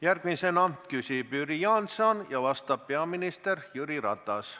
Järgmisena küsib Jüri Jaanson ja vastab peaminister Jüri Ratas.